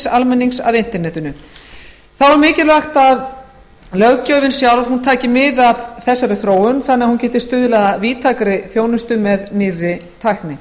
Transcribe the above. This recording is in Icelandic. almennings að internetinu þá er mikilvægt að löggjöfin sjálf taki mið af þessari þróun þannig að hún geti stuðlað að víðtækri þjónustu með nýrri tækni